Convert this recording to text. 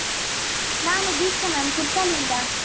ನಾನು ದೀಕ್ಷಾ ma’am , ಕುರ್ಕಾಲ್ ಇಂದ.